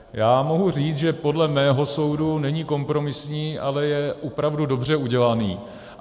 Já mohu říct, že podle mého soudu není kompromisní, ale je opravdu dobře udělaný.